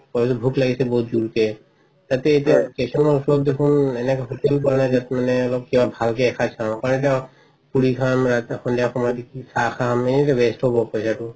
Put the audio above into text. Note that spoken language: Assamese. ভোক লাগিছে বহুত যোৰকে তাতে station ৰ ওচৰত দেখোন এখন hotel পোৱা নাই যত মানে ভালকে এসাজ খাও পুৰি খাম সন্ধিয়া সময়ত চাহ এনে waste হব পইচাটো